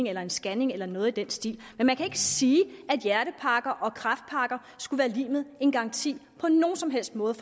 eller en scanning eller noget i den stil men man kan ikke sige at hjertepakker og kræftpakker skulle være lig med en garanti på nogen som helst måde